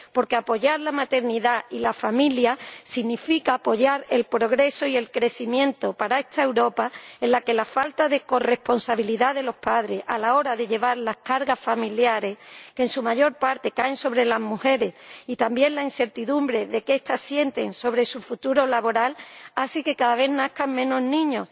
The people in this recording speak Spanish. Porque apoyar la maternidad y a la familia significa apoyar el progreso y el crecimiento para esta Europa en la que la falta de corresponsabilidad de los padres a la hora de llevar las cargas familiares —que en su mayor parte recaen sobre las mujeres— y también la incertidumbre que estas sienten sobre su futuro laboral hace que cada vez nazcan menos niños.